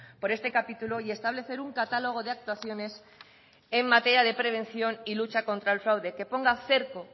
por este capítulo y establecer un catálogo de actuaciones en materia de prevención y lucha contra el fraude que ponga cerco